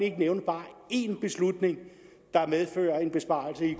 ikke nævne bare én beslutning der medfører en besparelse